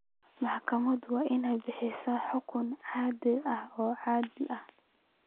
Maxkamaduhu waa inay bixiyaan xukun cadaalad ah oo cadaalad ah.